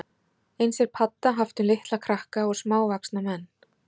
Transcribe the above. Eins er padda haft um litla krakka og smávaxna menn.